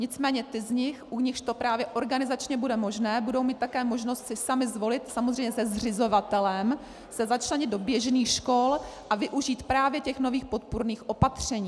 Nicméně ty z nich, u nichž to právě organizačně bude možné, budou mít také možnost si samy zvolit, samozřejmě se zřizovatelem, se začlenit do běžných škol a využít právě těch nových podpůrných opatření.